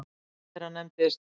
Einn þeirra nefndist